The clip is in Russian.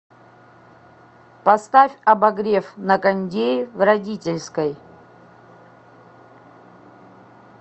поставь обогрев на кондее в родительской